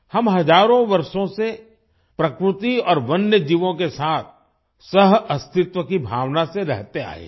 हम हजारों वर्षों से प्रकृति और वन्य जीवों के साथ सहअस्तित्व की भावना से रहते आये हैं